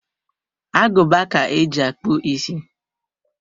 Aguba ka eji akpu isi.